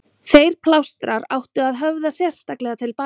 Þessir plástrar áttu að höfða sérstaklega til barna.